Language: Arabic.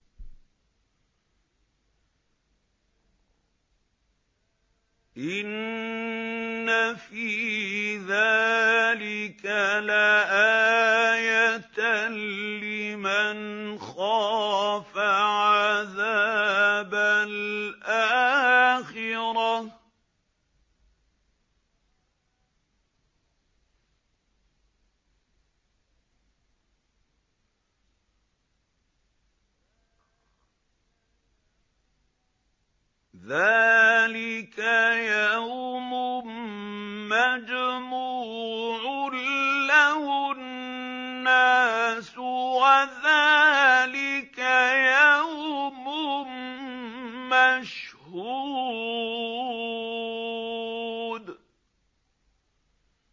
إِنَّ فِي ذَٰلِكَ لَآيَةً لِّمَنْ خَافَ عَذَابَ الْآخِرَةِ ۚ ذَٰلِكَ يَوْمٌ مَّجْمُوعٌ لَّهُ النَّاسُ وَذَٰلِكَ يَوْمٌ مَّشْهُودٌ